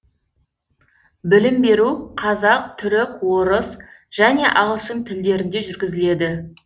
білім беру қазақ түрік орыс және ағылшын тілдерінде жүргізіледі